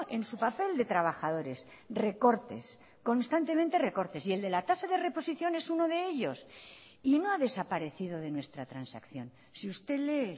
en su papel de trabajadores recortes constantemente recortes y el de la tasa de reposición es uno de ellos y no ha desaparecido de nuestra transacción si usted lee